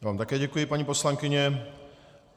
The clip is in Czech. Já vám také děkuji, paní poslankyně.